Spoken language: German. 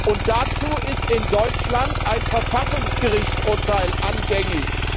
Und dazu ist in Deutschland ein Verfassungsgerichtsurteil anhängig.